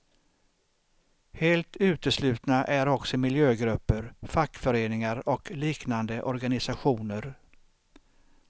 Helt uteslutna är också miljögrupper, fackföreningar och liknande organisationer.